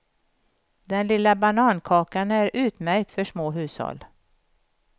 Den lilla banankakan är utmärkt för små hushåll.